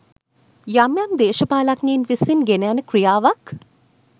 යම් යම් දේශපාලනඥයින් විසින් ගෙන යන ක්‍රියාවක්.